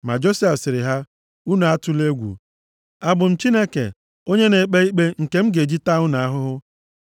Ma Josef sịrị ha, “Unu atụla egwu. Abụ m Chineke onye na-ekpe ikpe nke m ga-eji taa unu ahụhụ?